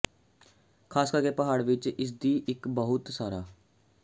ਖ਼ਾਸ ਕਰਕੇ ਪਹਾੜ ਵਿੱਚ ਇਸ ਦੀ ਇੱਕ ਬਹੁਤ ਸਾਰਾ